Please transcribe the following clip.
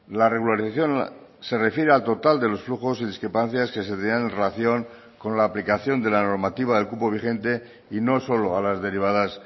la regularización se refiere al total de los flujos y discrepancias que se tenían en relación con la aplicación de la normativa del cupo vigente y no solo a las derivadas